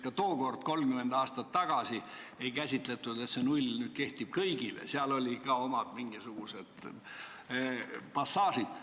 Ka tookord, 30 aastat tagasi ei käsitatud nii, et nullvariant kehtib kõigile, seal olid mängus ka omad mingisugused passaažid.